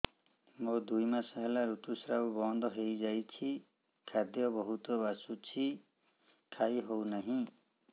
ମୋର ଦୁଇ ମାସ ହେଲା ଋତୁ ସ୍ରାବ ବନ୍ଦ ହେଇଯାଇଛି ଖାଦ୍ୟ ବହୁତ ବାସୁଛି ଖାଇ ହଉ ନାହିଁ